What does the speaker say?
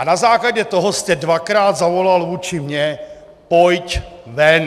A na základě toho jste dvakrát zavolal vůči mně: Pojď ven!